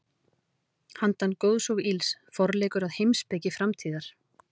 Handan góðs og ills: Forleikur að heimspeki framtíðar.